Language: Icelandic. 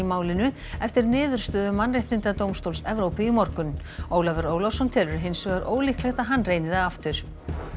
málinu eftir niðurstöðu Mannréttindadómstóls Evrópu í morgun Ólafur Ólafsson telur hins vegar ólíklegt að hann reyni það aftur